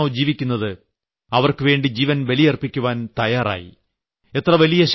തങ്ങൾ ആരുടെയിടയിലാണോ ജീവിക്കുന്നത് അവർക്കുവേണ്ടി ജീവൻ ബലിയർപ്പിക്കുവാൻ തയ്യാറായി